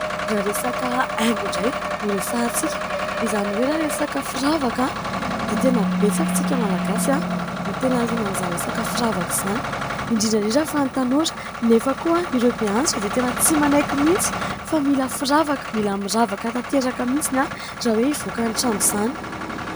Raha resaka haingo indray no resahantsika, izany hoe raha resaka firavaka dia tena betsaka isika Malagasy no tena liana amin'izany resaka firavaka izany, indrindra indrindra fa ny tanora nefa koa ireo be antitra dia tena tsy manaiky mihitsy fa mila firavaka, mila miravaka tanteraka mihitsy raha hoe hivoaka ny trano izany.